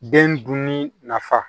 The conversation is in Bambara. Den dunni nafa